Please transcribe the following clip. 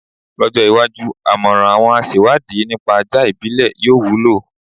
Lọ́jọ́ iwájú, àmọ̀ràn àwọn aṣewádìí nípa ajá ìbílẹ̀ yóò wúlò.